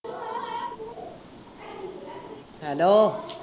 hello